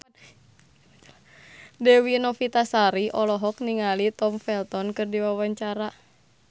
Dewi Novitasari olohok ningali Tom Felton keur diwawancara